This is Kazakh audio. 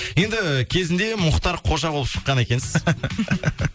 енді кезінде мұхтар қожа болып шыққан екенсіз